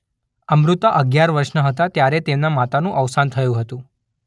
અમૃતા અગિયાર વર્ષના હતા ત્યારે તેમના માતાનું અવસાન થયું હતું.